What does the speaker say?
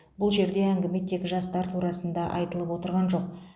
бұл жерде әңгіме тек жастар турасында айтылып отырған жоқ